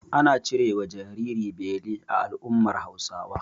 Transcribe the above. Ana cirewa jariri beli a al'ummar Hausawa.